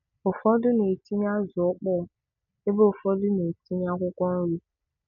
Ụfọdụ na-etinye azụ ọkpọọ ebe ụfọdụ na-etinye akwụkwọ nri